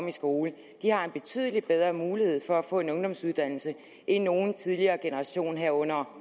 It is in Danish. i skole har en betydelig bedre mulighed for at få en ungdomsuddannelse end nogen tidligere generation herunder